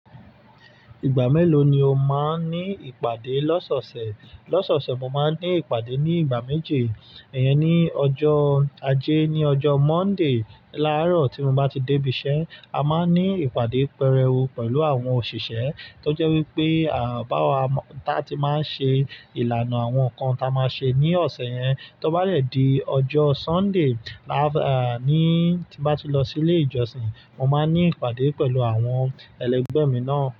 Ìgbà mélòó ni o máa ní ìpàdé lọ́sọ̀ọ̀sẹ̀? Lọ́sọ̀ọ̀sẹ̀, mo máa ń ní ìpàdé ní ìgbà méje. Iyẹn ni ọjọ́ ajé, ní ọjọ́ Monday. Láràárọ̀ tí mo bá ti dé ibiṣẹ́, a máa ní ìpàdé pẹrẹu pẹ̀lú àwọn òṣìṣẹ́ tó jẹ́ wípé, à, bá wa, ta tí máa ń ṣe ìlànà àwọn nǹkan tí a máa ṣe ní ọ̀sẹ̀ yẹn. Tó bá dẹ̀ dí ọjọ́ Sunday, láàf, à, ní, tí bá ti lọ sí ilé ìjọsìn, mo máa ní ìpàdé pẹ̀lú àwọn ẹlẹ́gbẹ́ mi náà.